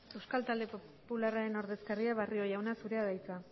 euskal talde popularraren ordezkaria barrio jauna zurea da hitza